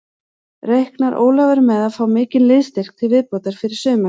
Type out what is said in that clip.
Reiknar Ólafur með að fá mikinn liðsstyrk til viðbótar fyrir sumarið?